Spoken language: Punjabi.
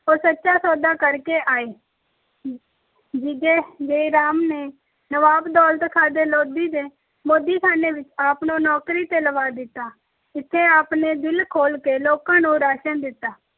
ਉਹ ਸੱਚਾ ਸੌਦਾ ਕਰ ਕੇ ਆਏ । ਜੀਜੇ ਜੈ ਰਾਮ ਨੇ ਨਵਾਬ ਦੌਲਤ ਖਾਂ ਦੇ ਲੋਧੀ ਦੇ ਮੋਦੀਖਾਨੇ ਵਿੱਚ ਆਪ ਨੂੰ ਨੌਕਰੀ ਤੇ ਲਵਾ ਦਿੱਤਾ। ਇੱਥੇ ਆਪ ਨੇ ਦਿਲ ਖੋਲ੍ਹ ਕੇ ਲੋਕਾਂ ਨੂੰ ਰਾਸ਼ਨ ਦਿੱਤਾ।